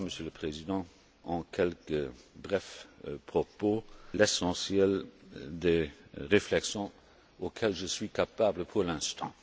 près. Voilà, Monsieur le Président, en quelques brefs propos, l'essentiel des réflexions dont je suis capable pour l'instant.